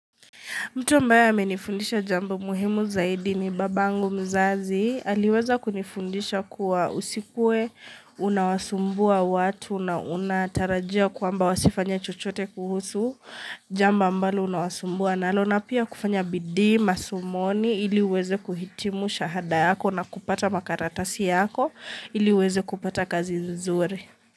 Mtu ambaye amenifundisha jambo muhimu zaidi ni babangu mzazi. Aliweza kunifundisha kuwa usikue, unawasumbua watu na unatarajia kwamba wasifanya chochote kuhusu. Jamba ambalo unawasumbua nalo na pia kufanya bidi, masomoni iliweze kuhitimu shahada yako na kupata makaratasi yako ili uweze kupata kazi nzuri.